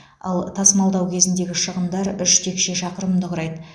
ал тасымалдау кезіндегі шығындар үш текше шақырымды құрайды